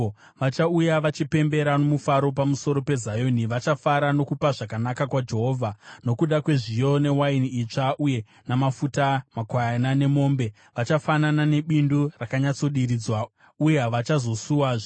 Vachauya vachipembera nomufaro pamusoro peZioni; vachafara nokupa zvakanaka kwaJehovha, nokuda kwezviyo, newaini itsva uye namafuta, makwayana nemombe. Vachafanana nebindu rakanyatsodiridzwa, uye havachazosuwazve.